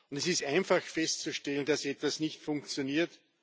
Es ist einfach festzustellen, dass etwas nicht funktioniert.